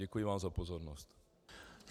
Děkuji vám za pozornost.